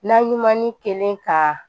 Na ɲuman ni kelen ka